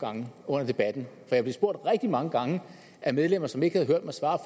gange under debatten for jeg blev spurgt rigtig mange gange af medlemmer som ikke havde hørt mig svare